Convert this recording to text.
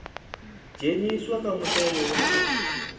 dzheniswa kha mutevhe wa u